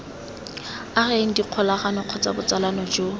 ageng dikgolagano kgotsa botsalano jo